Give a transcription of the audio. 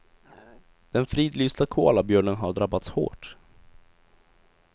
Den fridlysta koalabjörnen har drabbats hårt.